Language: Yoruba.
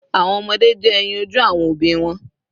Awọn ọmọde jẹ eyin oju awọn obi wọn